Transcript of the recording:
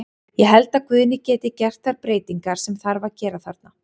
Ég held að Guðni geti gert þær breytingar sem þarf að gera þarna.